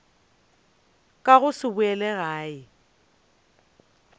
ka go se boele gae